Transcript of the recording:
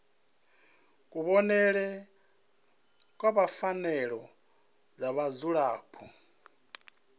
kuvhonele kwa pfanelo dza vhadzulapo